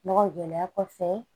Nɔgɔ gɛlɛya kɔfɛ